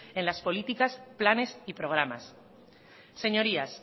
en las políticas planes y programas señorías